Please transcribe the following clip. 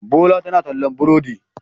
Bola tana tallan burodi.